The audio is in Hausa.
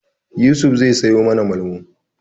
Yusuf zai siyo mana Malmo.